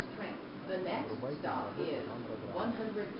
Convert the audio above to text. врубай киноработу жанра драма